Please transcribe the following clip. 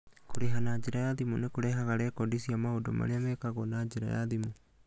Kũrĩha na njĩra ya thimũ nĩ kũrehaga rekondi cia maũndũ marĩa mekagwo na njĩra ya thimũ.